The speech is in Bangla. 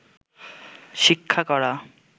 শিক্ষা করা